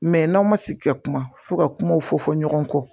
Mɛ n'aw ma sigi ka kuma fo ka kumaw fɔ fɔ ɲɔgɔn kɔ